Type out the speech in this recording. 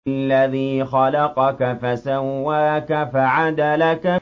الَّذِي خَلَقَكَ فَسَوَّاكَ فَعَدَلَكَ